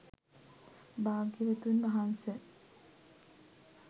භාග්‍යවතුන් වහන්ස,